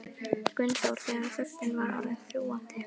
Gunnþór þegar þögnin var orðin þrúgandi.